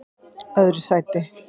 öðru sæti